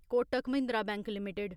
Kotak Mahindra bank limited